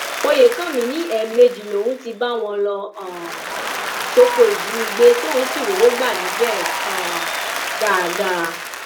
oyèkánmi ní ẹẹmejì lòún ti bá wọn lọ um sóko ìjínigbé tóun sì rówó gbà níbẹ um dáadáa